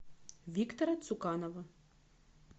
виктора цуканова